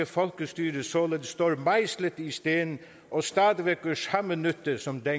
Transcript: folkestyre således står mejslet i sten og stadig væk gør samme nytte som da